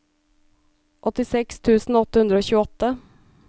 åttiseks tusen åtte hundre og tjueåtte